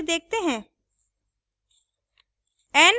दूसरे पूर्ण वर्ग के साथ इसका प्रयोग करके देखते हैं